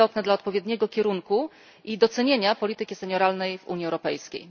To jest istotne dla odpowiedniego kierunku i docenienia polityki senioralnej w Unii Europejskiej.